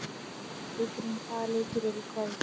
Auðrún, hvaða leikir eru í kvöld?